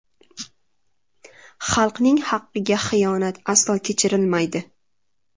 Xalqning haqiga xiyonat aslo kechirilmaydi.